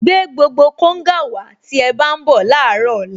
Gbé gbogbo konga wàá tí ẹ bá ń bọ̀ láàárọ̀ ọ̀la